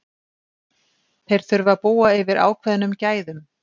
Þeir þurfa að búa yfir ákveðnum gæðum.